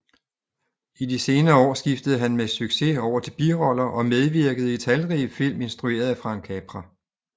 I de senere år skiftede han med succes over til biroller og medvirkede i talrige film instrueret af Frank Capra